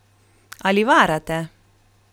Ali varate?